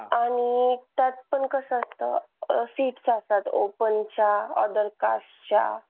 आणि त्यात पण कसं असतं अं seats असतात open च्या, other cast च्या.